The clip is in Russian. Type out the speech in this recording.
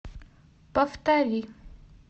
повтори